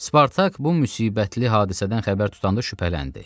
Spartak bu müsibətli hadisədən xəbər tutanda şübhələndi.